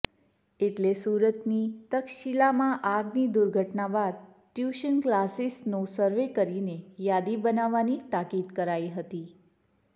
એટલે સુરતની તક્ષશિલામાં આગની દુર્ઘટના બાદ ટ્યુશન ક્લાસિસોનો સર્વે કરીને યાદી બનાવવાની તાકિદ કરાઈ હતી